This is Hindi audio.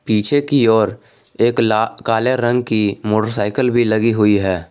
पीछे की ओर एक ला काले रंग की मोटरसाइकिल भी लगी हुई है।